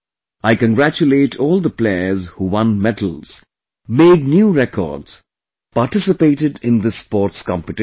I congratulate all the players, who won medals, made new records, participated in this sports competition